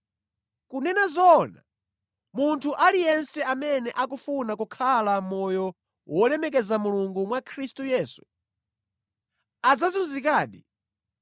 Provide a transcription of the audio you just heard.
Kunena zoona, munthu aliyense amene akufuna kukhala moyo wolemekeza Mulungu mwa Khristu Yesu, adzazunzikadi,